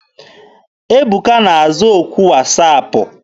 Ebuka na-aza okwu wasaapụ.